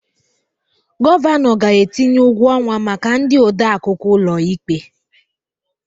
Gọvanọ ga-etinye ụgwọ ọnwa maka ndị odeakwụkwọ ụlọ ikpe